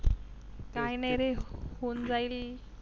काहि नाहि रे होऊन जाईल